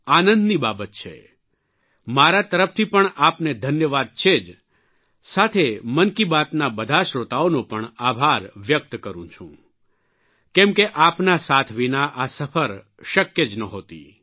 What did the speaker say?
આનંદની બાબત છે મારા તરફથી પણ આપને ધન્યવાદ છે જ સાથે મનકી બાતના બધા શ્રોતાઓનો પણ આભાર વ્યક્ત કરૂં છું કેમ કે આપના સાથ વિના આ સફર શક્ય જ નહોતી